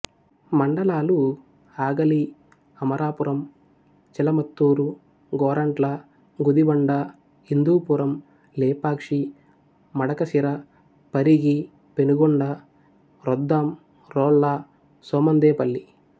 మండలాలు ఆగలి అమరాపురం చిలమత్తూరు గోరంట్ల గుదిబండ హిందూపురం లేపాక్షి మడకశిర పరిగి పెనుకొండ రొద్దాం రోళ్ళ సోమందేపల్లి